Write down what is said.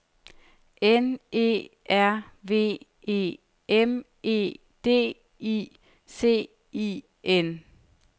N E R V E M E D I C I N